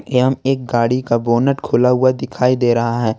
एवं एक गाड़ी का बोनट खोला हुआ दिखाई दे रहा है।